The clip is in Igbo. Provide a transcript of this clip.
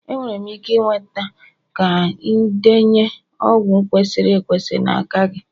Enwere m ike ịnweta ka indenye ọgwụ kwesịrị ekwesị n'aka gị?